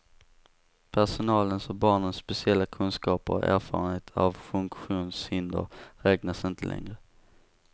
Personalens och barnens speciella kunskaper och erfarenhet av funktionshinder räknas inte längre.